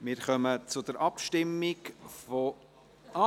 Wir kommen zur Abstimmung von ...